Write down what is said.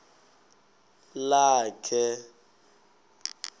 lakhe